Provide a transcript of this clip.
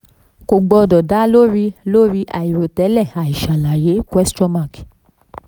kò gbọdọ̀ dá lórí lórí àìròtẹ́lẹ̀ àìṣàlàyé question mark